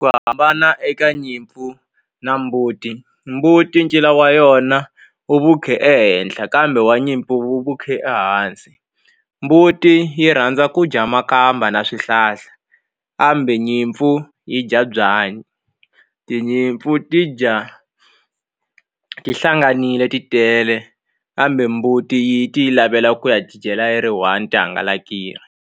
Ku hambana eka nyimpfu na mbuti mbuti ncila wa yona wu vukhe ehenhla kambe wa nyimpfu wu vukhe ehansi mbuti yi rhandza ku dya makamba na swihlahla kambe nyimpfu yi dya byanyi tinyimpfu ti dya tihlanganile ti tele kambe mbuti yi ti yi lavela ku ya ti dyela yi ri one ti hangalakile.